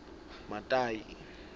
matayi